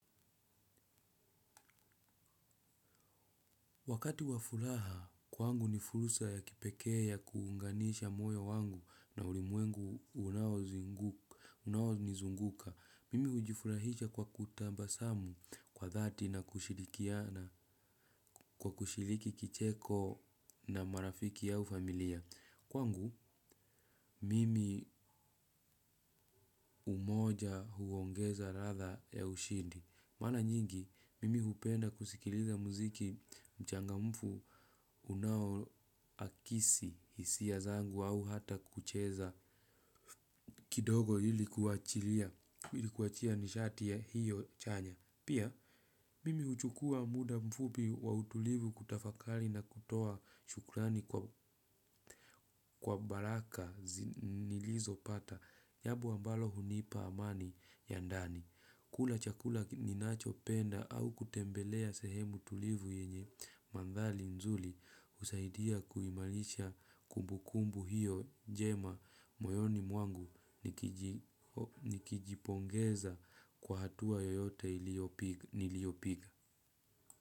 Wakati wa furaha, kwangu ni furusa ya kipekee ya kuunganisha moyo wangu na ulimwengu unaonizunguka. Mimi hujifurahisha kwa kutabasamu kwa dhati na kwa kushiriki kicheko na marafiki au familia. Kwangu, mimi umoja huongeza ladha ya ushindi. Mara nyingi, mimi hupenda kusikiliza muziki mchangamfu unao akisi hisia zangu au hata kucheza kidogo achilia ili kuachia nishati ya hiyo chanya. Pia, mimi huchukuwa muda mfupi wa utulivu kutafakari na kutoa shukrani kwa baraka nilizo pata. Jambo ambalo hunipa amani ya ndani. Kula chakula ninacho penda au kutembelea sehemu tulivu yenye mandari nzuri husaidia kuimarisha kumbu kumbu hiyo njema moyoni mwangu nikijipongeza kwa hatua yoyote niliyopiga.